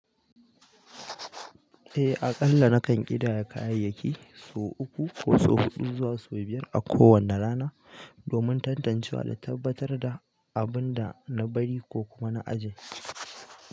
Eh, aƙalla nakan ƙidaya kayayyaki sau uku ko sau huɗu zuwa sau biyar a kowane rana domin tantancewa da tabbatar da abin da na bari ko kuma na aje.